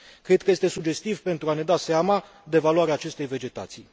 Cred că este sugestiv pentru a ne da seama de valoarea acestei vegetații.